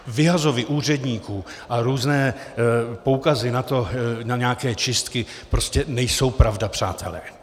Vyhazovy úředníků a různé poukazy na nějaké čistky prostě nejsou pravda, přátelé.